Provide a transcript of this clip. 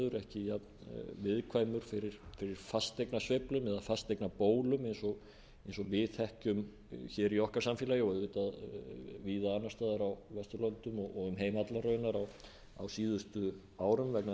jafn viðkvæmur fyrir fasteignasveiflum eða fasteignabólum eins og við þekkjum hér í okkar samfélagi og auðvitað víða annars staðar á vesturlöndum og um heim allan raunar á síðustu árum vegna